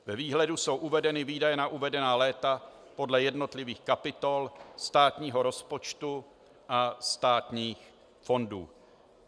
Ve výhledu jsou uvedeny výdaje na uvedená léta podle jednotlivých kapitol státního rozpočtu a státních fondů.